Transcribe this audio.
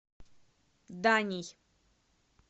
даней